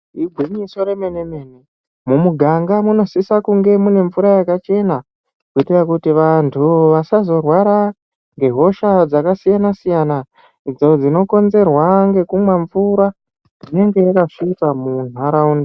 Igwinyiso remene mene mumuganga munosisa kunge muine mvura yakachena ngenda yekuti vantu vasazorwara ngehosha dzakasiyana siyana idzo dzinokonzerwa ngekumwa mvura unenga yakasvipa muntaraunda.